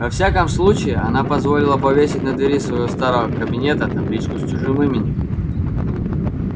во всяком случае она позволила повесить на двери своего старого кабинета табличку с чужим именем